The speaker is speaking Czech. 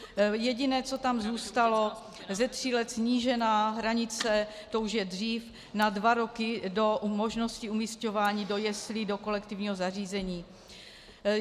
Jediné, co tam zůstalo, ze tří let snížená hranice, to už je dřív, na dva roky do možnosti umísťování do jeslí, do kolektivního zařízení.